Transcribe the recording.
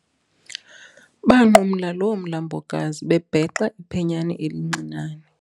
Banqumla loo mlambokazi bebhexa iphenyane elincinane.